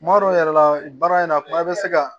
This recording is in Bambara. Kuma dɔw yɛrɛ la baara in na kuma bɛ se ka